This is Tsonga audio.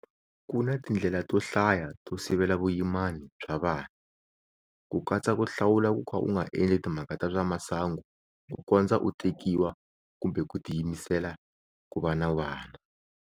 Ku na tindlela to hlaya to sivela vuyimani bya vana, ku katsa ku hlawula ku ka u nga endli timhaka ta swa masangu kukondza u tekiwa kumbe ku tiyimisela ku va na vana.